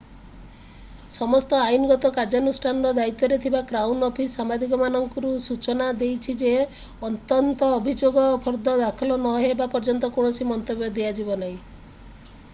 ସମସ୍ତ ଆଇନଗତ କାର୍ଯ୍ୟାନୁଷ୍ଠାନର ଦାୟିତ୍ୱରେ ଥିବା କ୍ରାଉନ୍ ଅଫିସ୍ ସାମ୍ବାଦିକମାନଙ୍କୁ ସୂଚନା ଦେଇଛି ଯେ ଅନ୍ତତଃ ଅଭିଯୋଗ ଫର୍ଦ୍ଦ ଦାଖଲ ନହେବା ପର୍ଯ୍ୟନ୍ତ କୌଣସି ମନ୍ତବ୍ୟ ଦିଆଯିବ ନାହିଁ